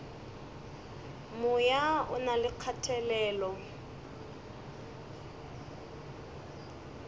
moya o na le kgatelelo